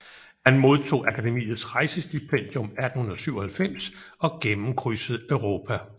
Han modtog Akademiets rejsestipendium 1897 og gennemkrydsede Europa